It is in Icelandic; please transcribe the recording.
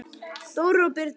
Þórir og Birna.